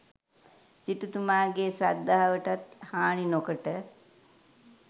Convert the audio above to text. සිටුතුමාගේ ශ්‍රද්ධාවටත් හානි නොකොට